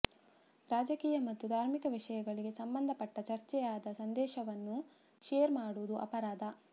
ರಾಜಕೀಯ ಮತ್ತು ಧಾರ್ಮಿಕ ವಿಷಯಗಳಿಗೆ ಸಂಬಂಧಪಟ್ಟಚರ್ಚೆಯಾದ ಸಂದೇಶವನ್ನು ಶೇರ್ ಮಾಡುವುದು ಅಪರಾಧ